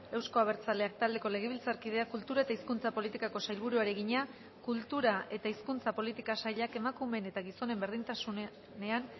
euzko abertzaleak taldeko legebiltzarkideak kultura eta hizkuntza politikako sailburuari egina kultura eta hizkuntza politika sailak emakumeen eta gizonen berdintasunean